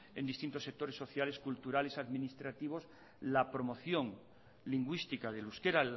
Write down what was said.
en distintos sectores sociales culturales y administrativos la promoción lingüística del euskera